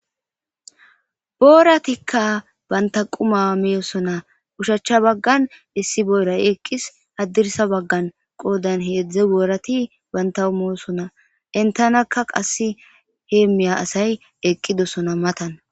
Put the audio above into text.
Booratikka banta quma meyosona ushachcha baggan issi boyray eqqis addirsa baggan qoodan heedzdze boorati banta umeosona entanakka qasse hee miya asay eqqidosona matan